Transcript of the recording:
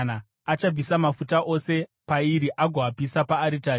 Achabvisa mafuta ose pairi agoapisa paaritari